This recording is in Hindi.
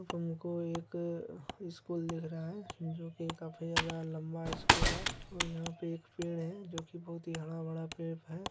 हम को एक स्कूल दिख रहा है जो की काफ़ी ज्यादा लम्बा स्कूल है और यहाँ पे एक पेड़ है जो की बहुत ही हराभरा पेड़ है।